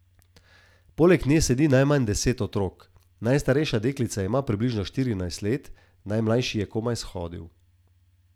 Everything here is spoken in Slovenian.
Poleg nje sedi najmanj deset otrok, najstarejša deklica ima približno štirinajst let, najmlajši je komaj shodil.